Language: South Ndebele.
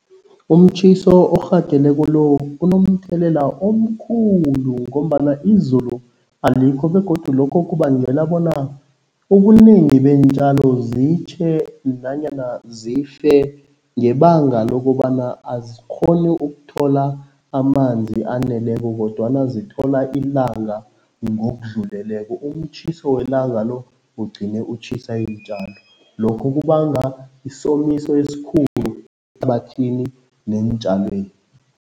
Umtjhiso orhageleko lo unomthelela omkhulu ngombana izulu alikho begodu lokho kubangela bona ubunengi beentjalo zitjhe nanyana zife ngebanga lokobana azikghoni ukuthola amanzi aneleko kodwana zithola ilanga ngokudluleleko, umtjhiso welanga lo ugcine utjhisa iintjalo. Lokho kubanga isomiso esikhulu ehlabathini neentjalweni.